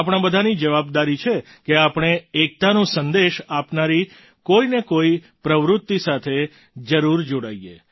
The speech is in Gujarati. આપણા બધાની જવાબદારી છે કે આપણે એકતાનો સંદેશ આપનારી કોઈ ને કોઈ પ્રવૃત્તિ સાથે જરૂર જોડાઈએ